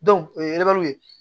o ye ye